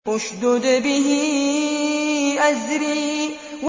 اشْدُدْ بِهِ أَزْرِي